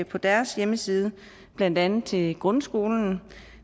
på deres hjemmeside blandt andet til grundskolen